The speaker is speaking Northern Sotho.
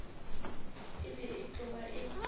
e be e tloga e